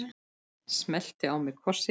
Smellti á mig kossi.